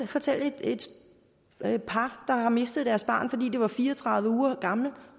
fortælle et par der har mistet deres barn fordi det var fire og tredive uger gammelt